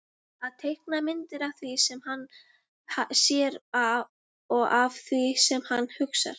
Að teikna myndir af því sem hann sér og af því sem hann hugsar.